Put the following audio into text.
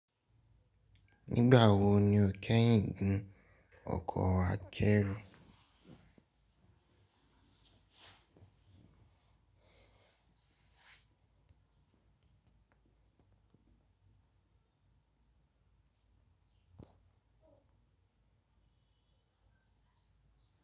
Nígbà wo ni ó kẹ́yìn ń gun ọkọ̀ akẹ́rù?